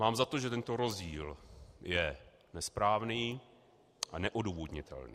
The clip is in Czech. Mám za to, že tento rozdíl je nesprávný a neodůvodnitelný.